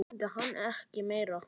Svo mundi hann ekki meira.